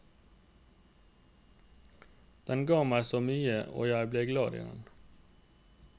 Den ga meg så mye og jeg ble glad i den.